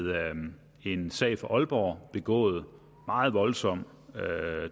en sag fra aalborg begået meget voldsom